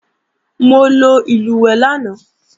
Mo lo ìlùwẹ̀ẹ̀ lánàá